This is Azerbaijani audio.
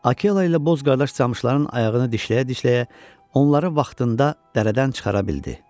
Akella ilə Boz qardaş camışların ayağını dişləyə-dişləyə onları vaxtında dərədən çıxara bildi.